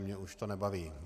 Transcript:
Mě už to nebaví.